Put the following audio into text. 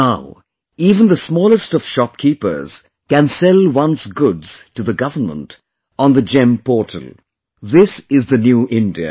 Now even the smallest of shopkeepers can sell one's goods to the government on the GeM Portal this is the New India